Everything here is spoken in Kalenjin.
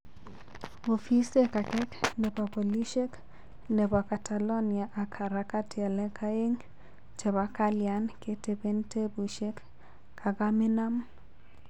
Ofisek age nepo polishek nepo catalonia ak harakati alak aegn chepo kalian ketepen tepushek kakaminam